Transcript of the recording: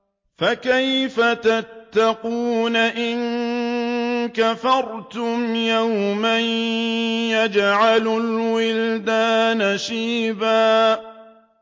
فَكَيْفَ تَتَّقُونَ إِن كَفَرْتُمْ يَوْمًا يَجْعَلُ الْوِلْدَانَ شِيبًا